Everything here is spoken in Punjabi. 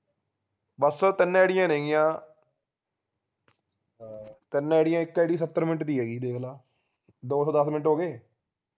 ਬਸ ਤਿੰਨ ਆਈਡੀਆਂ ਨੈਗੀਆਂ ਤਿੰਨ ਆਈਡੀਆਂ ਇਕ id ਸੱਤਰ minute ਦੀ ਹੈਗੀ ਦੇਖ ਲਾ ਦੋ ਸੋ ਦਸ minute ਹੋਗੇ